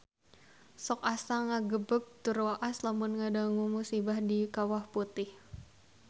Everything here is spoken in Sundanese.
Sok asa ngagebeg tur waas lamun ngadangu musibah di Kawah Putih